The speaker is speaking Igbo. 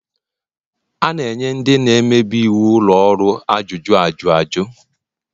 A na-enye ndị na-emebi iwu ụlọ ọrụ ajụjụ ajuju